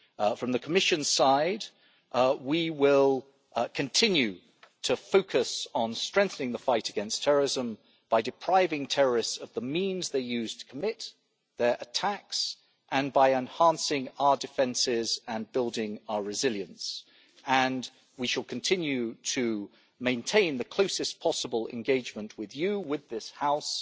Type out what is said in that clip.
From the Commission's side we will continue to focus on strengthening the fight against terrorism by depriving terrorists of the means they use to commit their attacks and by enhancing our defences and building our resilience, and we shall continue to maintain the closest possible engagement with you, with this House,